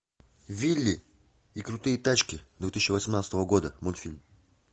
вилли и крутые тачки две тысячи восемнадцатого года мультфильм